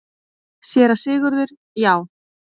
SÉRA SIGURÐUR: Já!